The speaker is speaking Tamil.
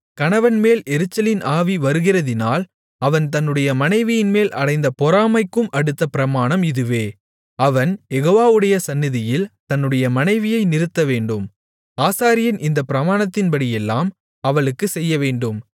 கணவன்மேல் எரிச்சலின் ஆவி வருகிறதினால் அவன் தன்னுடைய மனைவியின்மேல் அடைந்த பொறாமைக்கும் அடுத்த பிரமாணம் இதுவே அவன் யெகோவாவுடைய சந்நிதியில் தன்னுடைய மனைவியை நிறுத்தவேண்டும் ஆசாரியன் இந்தப் பிரமாணத்தின்படியெல்லாம் அவளுக்குச் செய்யவேண்டும்